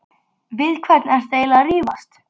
Við hvern ertu eiginlega að rífast?